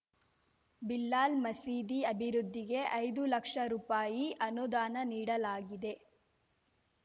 ಬಿಲಾಲ್‌ ಮಸೀದಿ ಅಭಿವೃದ್ದಿಗೆ ಐದು ಲಕ್ಷ ರೂಪಾಯಿ ಅನುದಾನ ನೀಡಲಾಗಿದೆ